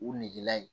U negela yen